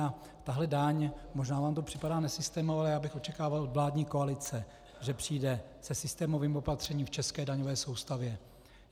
A tahle daň, možná vám to připadá nesystémové, ale já bych očekával od vládní koalice, že přijde se systémovým opatřením v české daňové soustavě.